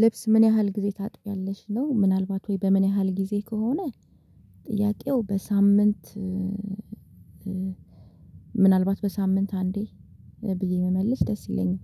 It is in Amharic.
ልብስ ምን ያህል ጊዜ ታጥቢያለሽ ነው ምናልባት ወይ በምን ያህል ጊዜ ከሆነ? ጥያቄው በሳምንት ምናልባት በሳምንት አንዴ ብዬ ብመልስ ደስ ይለኛል።